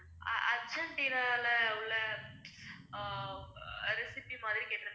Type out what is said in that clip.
அஹ் அர்ஜென்டினால உள்ள அஹ் recipe மாதிரி கேட்டிருக்காங்க